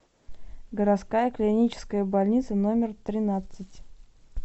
городская клиническая больница номер тринадцать